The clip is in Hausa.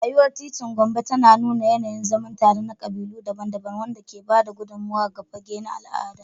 Rayuwar titin Gombe tana nuna yanayin zaman tare na kabilu daban-daban, wanda ke ba da gudummawa ga fage na al'adu.